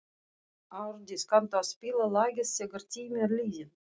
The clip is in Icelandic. Árdís, kanntu að spila lagið „Þegar tíminn er liðinn“?